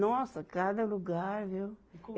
Nossa, cada lugar, viu?